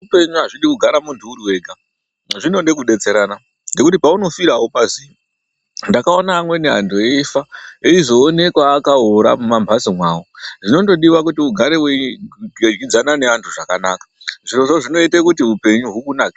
Zveupenyu azvidi kugara munhu uri wega zvinode kudetserana ngekuti paunofira aupaziyi ndakaona amweni anhu eifa echizoonekwa akaora mumamhatso mwawo zvinondodiwa kuti ugare weidyidzana neanhu zvakanaka zvirozvo zvinoite kuti upenyu hukunakire.